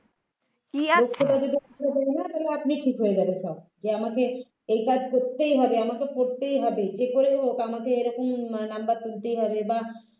. তাহলে আপনি ঠিক হয়ে যাবে সব যে আমাকে এই কাজ করতেই হবে আমাকে পরতেই হবে যে করে হোক আমাকে এরকম নম্বর তুলতেই হবে বা